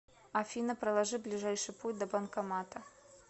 афина проложи ближайший путь до банкомата